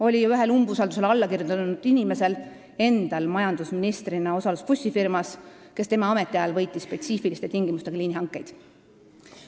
Oli ju ühel umbusaldusavaldusele alla kirjutanud inimesel endal majandusministrina osalus bussifirmas, mis tema ametiajal võitis spetsiifiliste tingimustega liinihankeid.